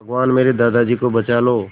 भगवान मेरे दादाजी को बचा लो